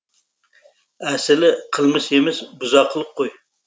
әсілі қылмыс емес бұзақылық қой